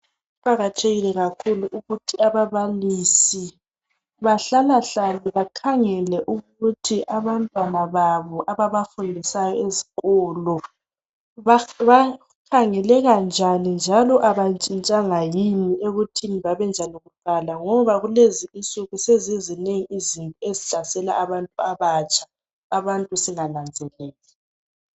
Kuqakathekile kakhulu ukuthi ababalisi bahlalahlale bakhangele ukuthi abantwana babo ababafundisayo esikolo bakhangeleka njani njalo abantshintshanga yini ekuthini babenjani kuqala ngoba kulezinsuku sezizinengi izinto ezihlasela abantu abatsha singananzeleli.